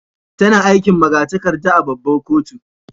Tana aikin magatarkada a' babban kotu.